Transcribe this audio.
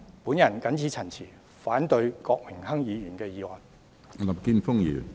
我謹此陳辭，反對郭榮鏗議員的議案。